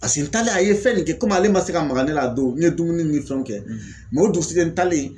Paseke n talen a ye fɛn nin kɛ komi ale ma se ka maka ne la a don n ye dumuni ni fɛnw kɛ o dugusɛjɛ n talen